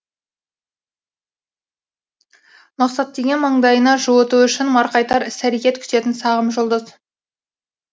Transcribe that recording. мақсат деген маңдайына жуыту үшін марқайтар іс әрекет күтетін сағым жұлдыз